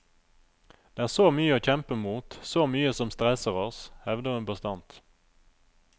Det er så mye å kjempe mot, så mye som stresser oss, hevder hun bastant.